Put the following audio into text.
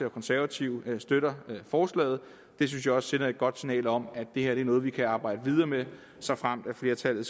og konservative støtter forslaget det synes jeg også sender et godt signal om at det her er noget vi kan arbejde videre med såfremt flertallet